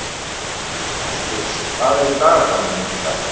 Ásgils, hvað er í dagatalinu mínu í dag?